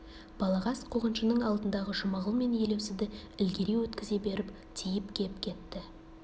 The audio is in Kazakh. балағаз қуғыншының алдындағы жұмағұл мен елеусізді ілгері өткізе беріп тиіп кеп кетті